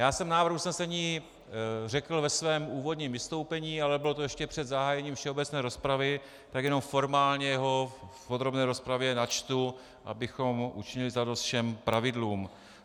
Já jsem návrh usnesení řekl ve svém úvodním vystoupení, ale bylo to ještě před zahájením všeobecné rozpravy, tak jednom formálně ho v podrobné rozpravě načtu, abychom učinili zadost všem pravidlům.